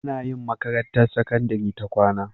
Anayin makarantar sakandari ta kwAna